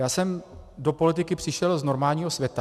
Já jsem do politiky přišel z normálního světa.